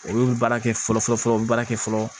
Olu bɛ baara kɛ fɔlɔ fɔlɔ u bɛ baara kɛ fɔlɔ